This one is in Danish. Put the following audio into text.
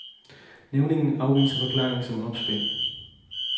Nævningene afviste forklaringen som opspind.